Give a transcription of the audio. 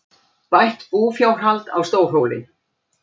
Bætt búfjárhald á Stórhóli